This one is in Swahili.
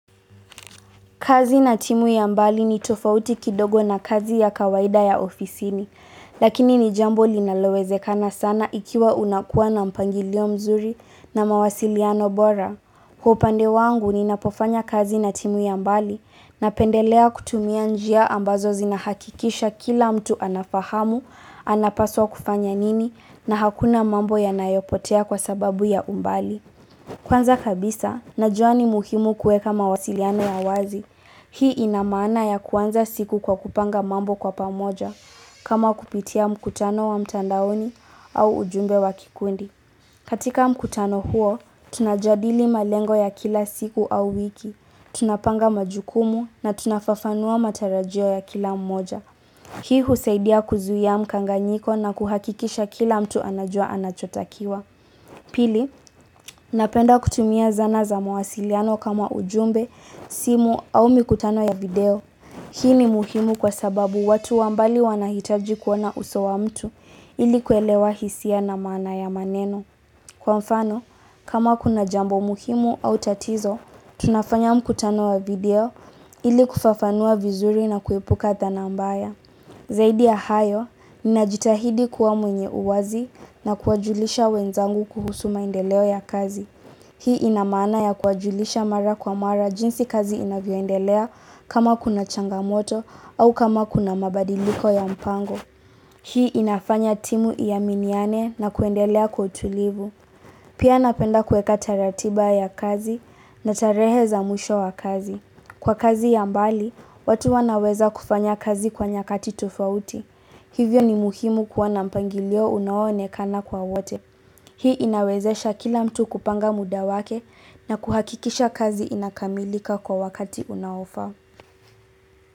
Kazi na timu ya mbali ni tofauti kidogo na kazi ya kawaida ya ofisini, lakini ni jambo linalowezekana sana ikiwa unakuwa na mpangilio mzuri na mawasiliano bora. Kwa upande wangu ninapofanya kazi na timu ya mbali napendelea kutumia njia ambazo zinahakikisha kila mtu anafahamu, anapaswa kufanya nini na hakuna mambo yanayopotea kwa sababu ya umbali. Kwanza kabisa, najua ni muhimu kuweka mawasiliano ya wazi, hii ina maana ya kuanza siku kwa kupanga mambo kwa pamoja, kama kupitia mkutano wa mtandaoni au ujumbe wa kikundi. Katika mkutano huo, tunajadili malengo ya kila siku au wiki, tunapanga majukumu na tunafafanua matarajio ya kila mmoja. Hii husaidia kuzuia mkanganyiko na kuhakikisha kila mtu anajua anachotakiwa. Pili, napenda kutumia zana za mawasiliano kama ujumbe, simu au mikutano ya video. Hii ni muhimu kwa sababu watu wa mbali wanahitaji kuona uso wa mtu ili kuelewa hisia na maana ya maneno. Kwa mfano, kama kuna jambo muhimu au tatizo, tunafanya mkutano wa video ili kufafanua vizuri na kuepuka dhanaa mbaya. Zaidi ya hayo, ninajitahidi kuwa mwenye uwazi na kuwajulisha wenzangu kuhusu maendeleo ya kazi. Hii ina maana ya kuwajulisha mara kwa mara jinsi kazi inavyoendelea kama kuna changamoto au kama kuna mabadiliko ya mpango. Hii inafanya timu iaminiane na kuendelea kwa utulivu. Pia napenda kuweka hata ratiba ya kazi na tarehe za mwisho wa kazi. Kwa kazi ya mbali, watu wanaweza kufanya kazi kwa nyakati tofauti. Hivyo ni muhimu kuwa na mpangilio unaonekana kwa wote. Hii inawezesha kila mtu kupanga muda wake na kuhakikisha kazi inakamilika kwa wakati unaofaa.